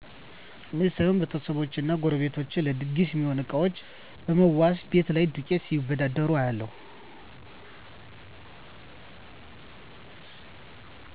እኔ ሳይሆን ቤተሰቦቸ እና ጎረቤቶቸ ለድግስ ሚሆኑ እቃዎችን ብመዋዋስ፣ ቤት ላይ ዱቄት ሲበዳደሩ እያለሁ።